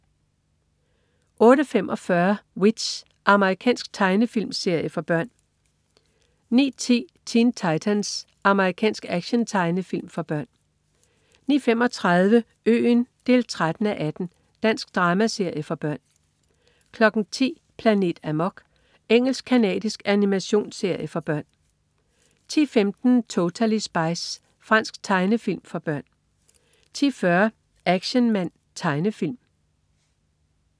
08.45 W.i.t.c.h. Amerikansk tegnefilmserie for børn 09.10 Teen Titans. Amerikansk actiontegnefilm for børn 09.35 Øen 13:18. Dansk dramaserie for børn 10.00 Planet Amok. Engelsk-canadisk animationsserie for børn 10.15 Totally Spies. Fransk tegnefilm for børn 10.40 Action Man. Tegnefilm